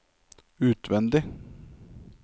utvendig